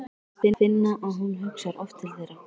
Finna að hún hugsar oft til þeirra.